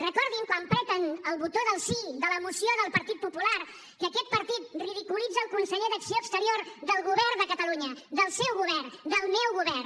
recordin quan apreten el botó del sí de la moció del partit popular que aquest partit ridiculitza el conseller d’acció exterior del govern de catalunya del seu govern del meu govern